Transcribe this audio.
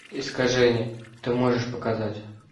искажение ты можешь показать